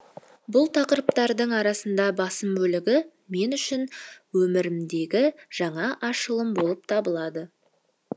бұл тақырыптардың арасында басым бөлігі мен үшін өмірімдегі жаңа ашылым болып табылады